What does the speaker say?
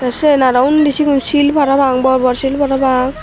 sen aroh undi sigon shil parapang bor bor shil parapang.